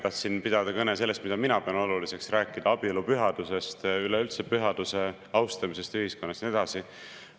Tahtsin pidada kõne sellest, mida mina pean oluliseks, rääkida abielu pühadusest, üleüldse pühaduse austamisest ühiskonnas ja nii edasi.